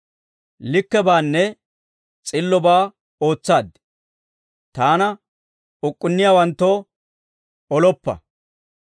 Likkebaanne s'illobaa ootsaad; Taana uk'k'unniyaawanttoo oloppa.